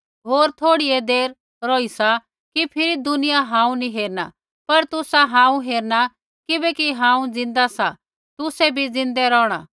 होर थोड़ीऐ देर रौही सा कि फिरी दुनियां हांऊँ नी हेरणा पर तुसा हांऊँ हेरणा किबैकि हांऊँ ज़िन्दा सा तुसा भी ज़िन्दै रौहणा